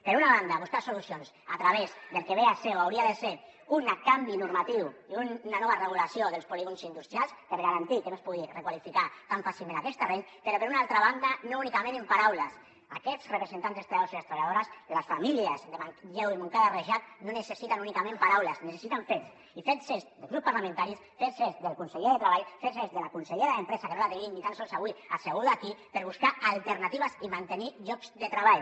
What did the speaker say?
per una banda buscar solucions a través del que ve a ser o hauria de ser un canvi normatiu i una nova regulació dels polígons industrials per garantir que no es pugui requalificar tan fàcilment aquests terrenys però per una altra banda no únicament en paraules aquests representants dels treballadors i les treballadores les famílies de manlleu i montcada i reixac no necessiten únicament paraules necessiten fets i fets certs dels grups parlamentaris fets certs del conseller de treball fets certs de la consellera d’empresa que no la tenim ni tan sols avui asseguda aquí per buscar alternatives i mantenir llocs de treball